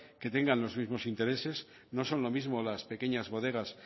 que tengan los mismos intereses no son lo mismo las pequeñas bodegas